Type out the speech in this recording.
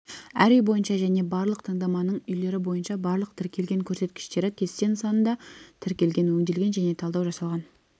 әр үй бойынша және барлық таңдаманың үйлері бойынша барлық тіркелген көрсеткіштері кесте нысанында тіркелген өңделген және талдау жасалған